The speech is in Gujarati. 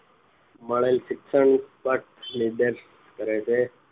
મળેલ શિક્ષણ પર નિર્દેશ કરે છે